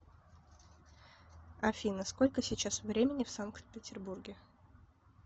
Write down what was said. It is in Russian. афина сколько сейчас времени в санкт петербурге